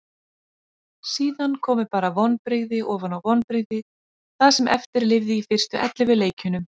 Síðan komu bara vonbrigði ofan á vonbrigði það sem eftir lifði í fyrstu ellefu leikjunum.